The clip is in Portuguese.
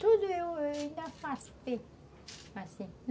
Tudo eu eu ainda faço bem, assim.